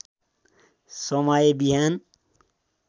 समय बिहान